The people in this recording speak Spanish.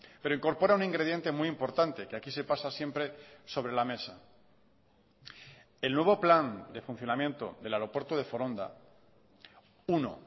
pero incorpora un ingrediente muy importante que aquí se pasa siempre sobre la mesa el nuevo plan de funcionamiento del aeropuerto de foronda uno